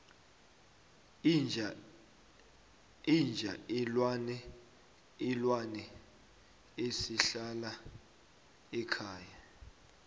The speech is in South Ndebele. inja ilwane esihlala ekhaya